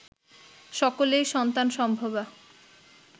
সকলেই সন্তান সম্ভবা